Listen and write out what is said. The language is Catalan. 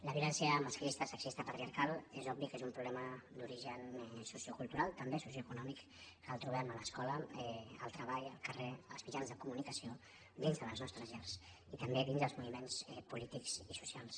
la violència masclista sexista patriarcal és obvi que és un problema d’origen sociocultural també socioeconòmic que el trobem a l’escola al treball al carrer als mitjans de comunicació dins de les nostres llars i també dins dels moviments polítics i socials